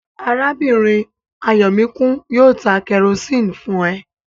Arábìnrin Ayọ̀míkún yóò ta kẹrosíni fún ẹ